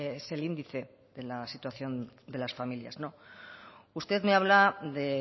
es el índice de la situación de las familias usted me habla de